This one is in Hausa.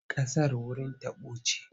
Ƙasar wurin taɓo ce.